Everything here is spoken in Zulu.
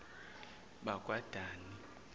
bakwadani